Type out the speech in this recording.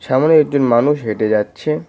সামোনে একজন মানুষ হেঁটে যাচ্ছে।